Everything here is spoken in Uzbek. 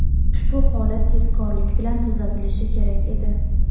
ushbu holat tezkorlik bilan tuzatilishi kerak edi.